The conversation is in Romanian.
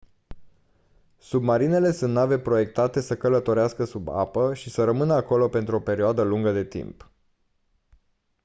submarinele sunt nave proiectate să călătorească sub apă și să rămână acolo pentru o perioadă lungă de timp